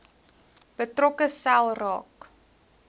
betrokke sel raak